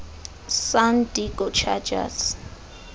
san diego chargers